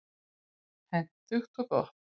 Hentugt og gott.